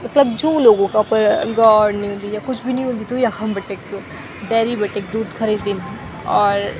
मतलब जू लोगो का अपर गौड़ नी हुन्दी या कुछ भी नी हुन्द त यखम बटेक डेरी बटेक दूध खरीद दीन और --